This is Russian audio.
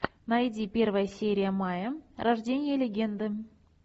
найди первая серия майя рождение легенды